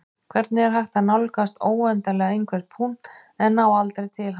hvernig er hægt að nálgast óendanlega einhvern punkt en ná aldrei til hans